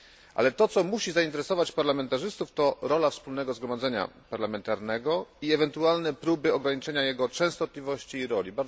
Ale to, co musi zainteresować parlamentarzystów, to rola Wspólnego Zgromadzenia Parlamentarnego i ewentualne próby ograniczenia jego częstotliwości i roli.